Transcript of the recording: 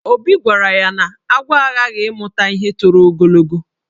Obi gwara ya na agwọ aghaghị ịmụ ihe toro ogologo.